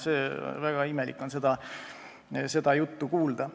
Väga imelik on sellist juttu kuulda.